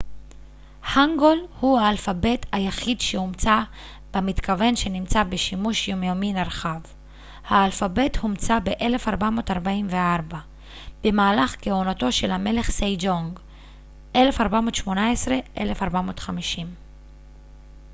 הנגול הוא האלפבית היחיד שהומצא במתכוון שנמצא בשימוש יומיומי נרחב. האלפבית הומצא ב-1444 במהלך כהונתו של המלך סייג'ונג 1418 - 1450